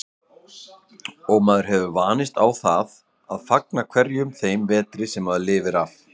Og maður hefur vanist á að fagna hverjum þeim vetri sem maður lifir af.